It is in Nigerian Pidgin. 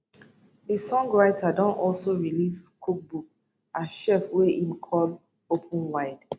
di songwriter don also release cookbook as chef wey im call open wide